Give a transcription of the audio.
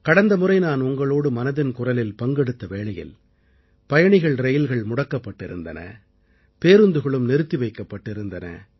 கடந்தமுறை நான் உங்களோடு மனதின் குரலில் பங்கெடுத்த வேளையில் பயணிகள் ரயில்கள் முடக்கப்பட்டிருந்தன பேருந்துகளும் நிறுத்தி வைக்கப்பட்டிருந்தன